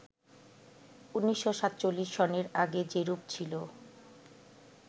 ১৯৪৭ সনের আগে যেরূপ ছিল